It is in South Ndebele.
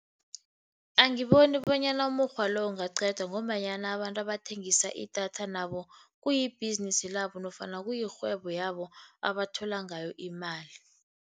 Angiboni bonyana umukghwa lo ungaqedwa, ngombanyana abantu abathengisa idatha nabo kuyibhizinisi labo nofana kuyirhwebo yabo, abathola ngayo imali.